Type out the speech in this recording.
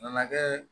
Nana kɛ